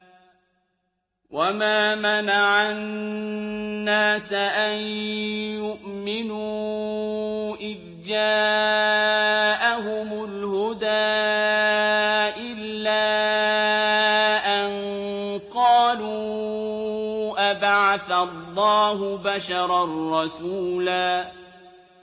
وَمَا مَنَعَ النَّاسَ أَن يُؤْمِنُوا إِذْ جَاءَهُمُ الْهُدَىٰ إِلَّا أَن قَالُوا أَبَعَثَ اللَّهُ بَشَرًا رَّسُولًا